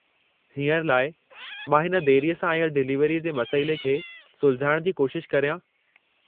हींअर लाइ, मां हिन देरीअ सां आयल डिलिवरीअ जे मसइले खे सुलझाइणु जी कोशिश करियां।